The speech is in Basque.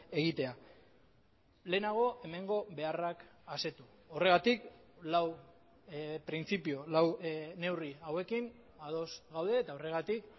egitea lehenago hemengo beharrak asetu horregatik lau printzipio lau neurri hauekin ados gaude eta horregatik